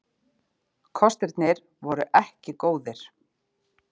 Kostirnir voru ekki góðir.